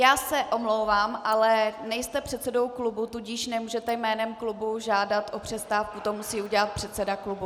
Já se omlouvám, ale nejste předsedou klubu, tudíž nemůžete jménem klubu žádat o přestávku, to musí udělat předseda klubu.